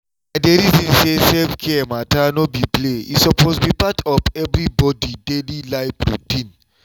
i dey reason say self-care matter no be play e suppose be part of of everybody daily life routine.